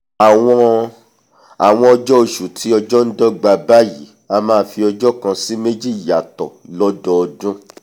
àwọn àwọn ọjọ́ ọṣù tí ọjọ́ ndọ́gba báyìí a máa fi ọjọ́ kan sí méjì yàtọ̀ lọ́dọọdún